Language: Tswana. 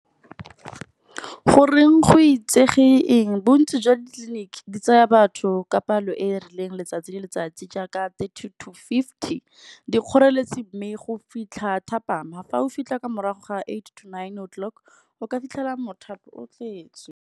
Goreng go itsege eng bontsi jwa ditleliniki di tsaya batho ka palo e e rileng letsatsi le letsatsi, jaaka thirty to fifty. Dikgoreletsi mme go fitlha thapama, fa o fitlha ka morago ga eight to nine o' clock o ka fitlhela o .